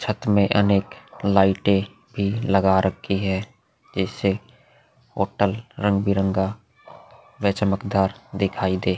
छत में अनेक लाइटें भी लगा रखी हैं जिससे होटल रंग बिरंगा व चमकदार दिखाई दे।